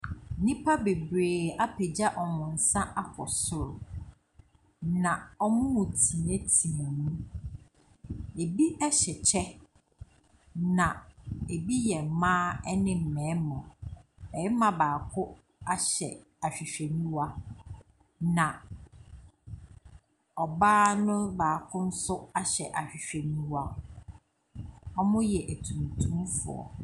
Nnipa bebree apagya wɔn nsa akɔ soro, na wɔreteateam. Na ɛbi hyɛ kyɛ. Na ɛbi yɛ mmaa ne mmarima. Barima baako ahyɛ ahwehwɛniwa. Na ɔbaa no baako nso ahyɛ ahwehwɛniwa. Wɔyɛ atuntumfoɔ.